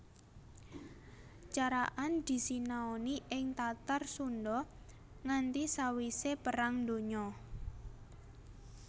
Carakan disinaoni ing Tatar Sundha nganti sawisé Perang Donya